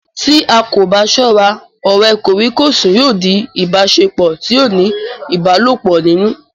Tí a kò bá sọ́ra, ọ̀rẹ́ kòríkòsùn yóò di ìbáṣepọ̀ tí ó ní ìbálòpọ̀ nínú